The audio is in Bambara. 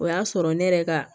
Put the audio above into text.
O y'a sɔrɔ ne yɛrɛ ka